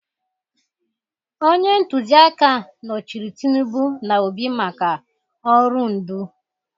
Onye ntụziaka nọchiri Tinubu na Obi maka ọrụ ndu